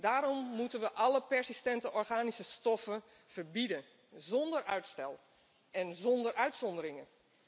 Daarom moeten we alle persistente organische stoffen verbieden, zonder uitstel en zonder uitzonderingen.